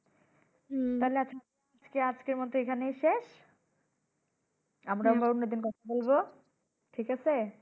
তাইলে আর কি আজকের মত এখানেই শেষ। আমরা আবার অন্যদিন কথা বলবো। ঠিক আছে?